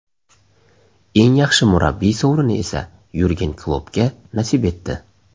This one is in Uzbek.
Eng yaxshi murabbiy sovrini esa Yurgen Kloppga nasib etdi.